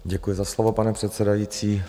Děkuji za slovo, pane předsedající.